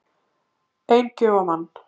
Ein gjöf á mann